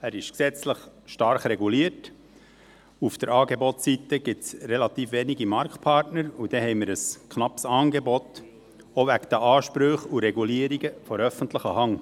Er ist gesetzlich stark reguliert, auf der Angebotsseite gibt es relativ wenige Marktpartner, und dann haben wir ein knappes Angebot, auch wegen der Ansprüche und Regulierungen der öffentlichen Hand.